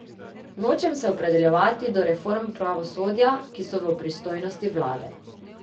Nočem se opredeljevati do reform pravosodja, ki so v pristojnosti vlade.